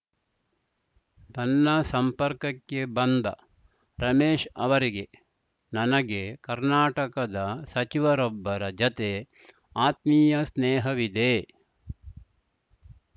ತನ್ನ ಸಂಪರ್ಕಕ್ಕೆ ಬಂದ ರಮೇಶ್‌ ಅವರಿಗೆ ನನಗೆ ಕರ್ನಾಟಕದ ಸಚಿವರೊಬ್ಬರ ಜತೆ ಆತ್ಮೀಯ ಸ್ನೇಹವಿದೆ